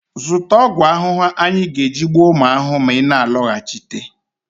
zụta ọgwụ ahụhụ anyị ga-eji gbuo ụmụ ahụhụ ma ị na-alọghachite